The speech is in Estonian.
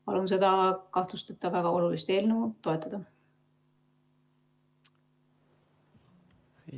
Ma palun seda kahtlusteta väga olulist eelnõu toetada.